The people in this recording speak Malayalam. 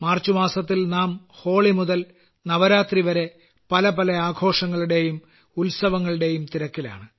മാർച്ച്മാസത്തിൽ നാം ഹോളി മുതൽ നവരാത്രിവരെ പലപല ആഘോഷങ്ങളുടേയും ഉത്സവത്തങ്ങളുടേയും തിരക്കിലാണ്